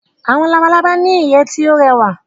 Awọn Labalaba ni iye ti yoo rẹwa